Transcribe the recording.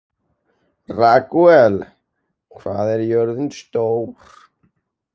Ragúel, hvað er jörðin stór?